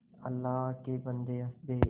अल्लाह के बन्दे हंस दे